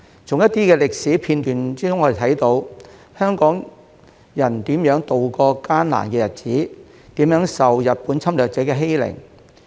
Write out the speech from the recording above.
從一些歷史片段中，我們看到香港人如何渡過艱難的日子，如何受日本侵略者的欺凌。